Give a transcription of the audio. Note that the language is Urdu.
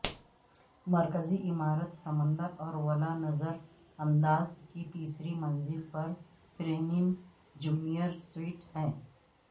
مرکزی عمارت سمندر اور ولا نظر انداز کی تیسری منزل پر پریمیم جونیئر سویٹ ہیں